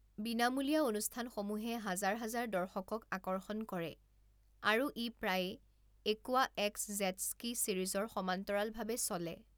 বিনামূলীয়া অনুষ্ঠানসমূহে হাজাৰ হাজাৰ দৰ্শকক আকৰ্ষণ কৰে আৰু ই প্ৰায়ে একুৱাএক্স জেটস্কি ছিৰিজৰ সমান্তৰালভাৱে চলে।